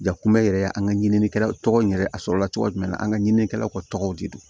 Jakuma yɛrɛ an ka ɲininikɛlaw tɔgɔ in yɛrɛ ye a sɔrɔlacogo jumɛn na an ka ɲininikɛlaw ka tɔgɔw de don